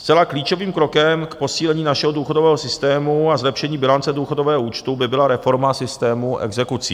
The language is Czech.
Zcela klíčovým krokem k posílení našeho důchodového systému a zlepšení bilance důchodového účtu by byla reforma systému exekucí.